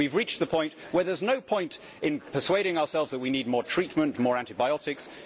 We have reached the point where there is no point in persuading ourselves that we need more treatment, more antibiotics.